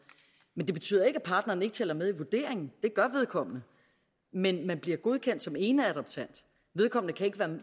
men det betyder ikke at partneren ikke tæller med i vurderingen det gør vedkommende men man bliver godkendt som eneadoptant vedkommende kan ikke